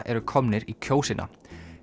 eru komnir í Kjósina